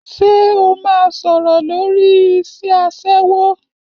Ṣé o máa sọ̀rọ̀ lórí iṣẹ́ aṣẹ́wó?